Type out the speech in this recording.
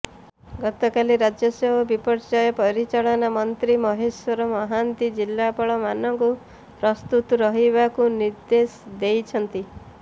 ଗତକାଲି ରାଜସ୍ୱ ଓ ବିପର୍ୟ୍ୟୟ ପରିଚାଳନା ମନ୍ତ୍ରୀ ମହେଶ୍ୱର ମହାନ୍ତି ଜିଲ୍ଲାପାଳମାନଙ୍କୁ ପ୍ରସ୍ତୁତ ରହିବାକୁ ନିର୍ଦେଶ ଦେଇଛନ୍ତି